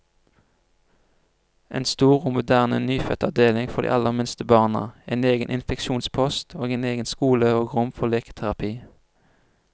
En stor og moderne nyfødtavdeling for de aller minste barna, en egen infeksjonspost, og egen skole og rom for leketerapi.